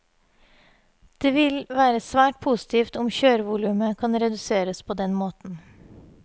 Det vil være svært positivt om kjørevolumet kan reduseres på den måten.